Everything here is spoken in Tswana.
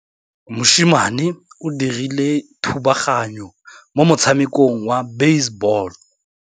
Mosimane o dirile thubaganyô mo motshamekong wa basebôlô.